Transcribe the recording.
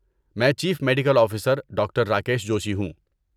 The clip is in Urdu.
میں chief medical officer doctor Rakesh Joshi ہوں۔